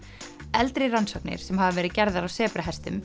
eldri rannsóknir sem hafa verið gerðar á